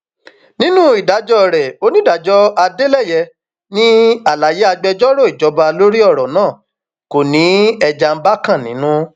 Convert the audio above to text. nínú ìdájọ rẹ onídàájọ adeleye ní àlàyé agbẹjọrò ìjọba lórí ọrọ náà kò ní ẹjanbàkan nínú